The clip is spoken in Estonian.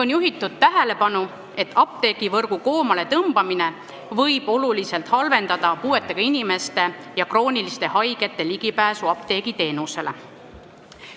On juhitud tähelepanu, et apteegivõrgu koomaletõmbamine võib oluliselt halvendada puuetega inimeste ja krooniliste haigete ligipääsu apteegiteenusele.